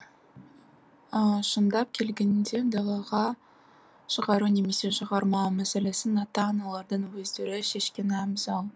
шындап келгенде далаға шығару немесе шығармау мәселесін ата аналардың өздері шешкені абзал